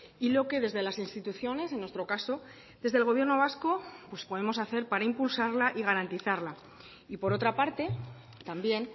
y lo que desde las instituciones en nuestro caso desde el gobierno vasco pues podemos hacer para impulsarla y garantizarla y por otra parte también